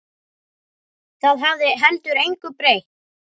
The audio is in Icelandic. Það hefði heldur engu breytt.